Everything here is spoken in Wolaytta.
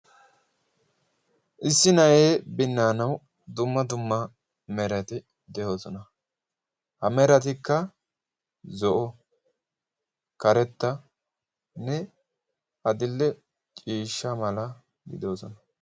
Issi na'ee binnaanawu dumma dumma merati de'oosona. ha meratikka zo'o karettanne ha dille ciishsha mala gidoosona.